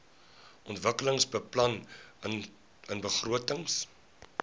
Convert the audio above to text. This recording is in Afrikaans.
ontwikkelingsbeplanningbegrotings